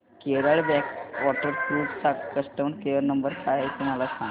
Kerala backwater cruise चा customer care number काय आहे मला सांगता का